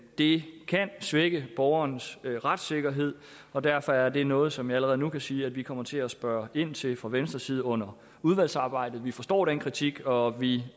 det kan svække borgerens retssikkerhed og derfor er det noget som jeg allerede nu kan sige at vi kommer til at spørge ind til fra venstres side under udvalgsarbejdet vi forstår den kritik og vi